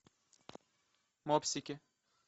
мопсики